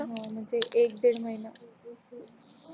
म्हणजे एक दिड महीना